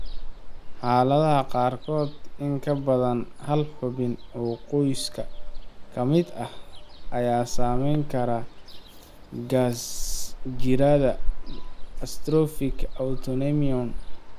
Xaaladaha qaarkood, in ka badan hal xubin oo qoyska ka mid ah ayaa saameyn kara gaasjirada atrophic autoimmune.